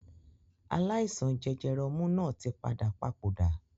Aláìsàn jẹjẹrẹ ọmú náà tí padà papòdà